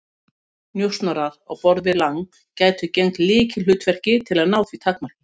Njósnarar á borð við Lang gætu gegnt lykilhlutverki til að ná því takmarki.